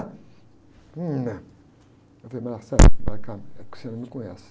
Não, eu falei, é que você não me conhece.